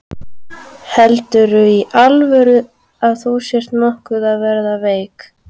Heldurðu í alvöru að þú sért nokkuð að verða veik.